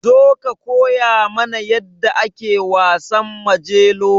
Zo ka koya mana yadda ake wasan Majelo.